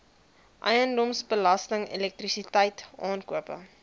eiendomsbelasting elektrisiteit aankope